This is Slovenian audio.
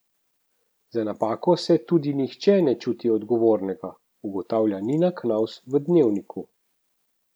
Za napako se tudi nihče ne čuti odgovornega, ugotavlja Nina Knavs v Dnevniku.